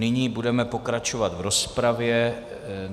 Nyní budeme pokračovat v rozpravě.